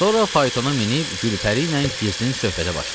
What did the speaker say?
Sonra faytona minib Gülpəri ilə gizlin söhbətə başladı.